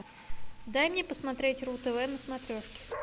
дай мне посмотреть ру тв на смотрешке